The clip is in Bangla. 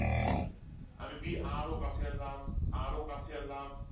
আমি B আরো কাছে আনলাম আরো কাছে আনলাম